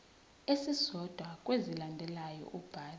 esisodwa kwezilandelayo ubhale